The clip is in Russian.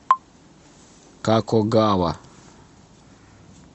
какогава